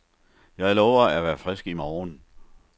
Jeg lover at være frisk i morgen.